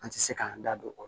An tɛ se k'an da don o la